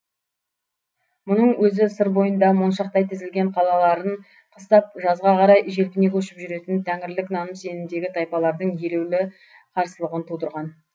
мұның өзі сыр бойында моншақтай тізілген қалаларын қыстап жазға қарай желпіне көшіп жүретін тәңірілік наным сенімдегі тайпалардың елеулі қарсылығын тудырған